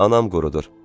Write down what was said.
Anam qurudur.